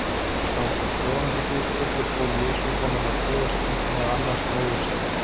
Samkvæmt Jóhannesarguðspjalli fól Jesús honum á dauðastundinni að annast móður sína.